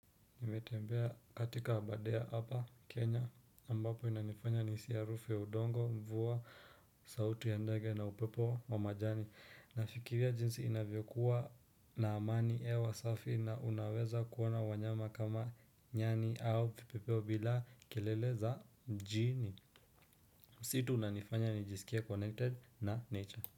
Nimetembea katika abadea hapa Kenya ambapo inanifanya nihisi ya harufu udongo, mvua, sauti ya ndege na upepo wa majani. Nafikiria jinsi inavyokuwa na amani hewa safi na unaweza kuona wanyama kama nyani au vipepeo bila kelele za mjini. Msitu unanifanya nijisikie connected na nature.